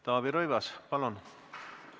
Taavi Rõivas, palun!